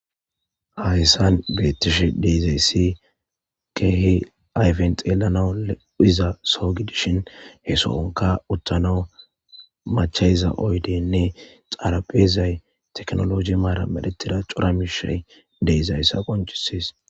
Hayssan beeththishe de7izayssi keehi ayfen xeellanawu lo7iza soho gidishin he sohonkka uththanawu machcha7iza oydeenne xarapheezay teknolooje maaran medgethida cora miishshay de7izayssa qonccisses.